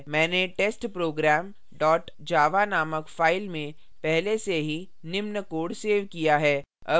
मैंने testprogram dot java नामक file में पहले से ही निम्न code सेव किया है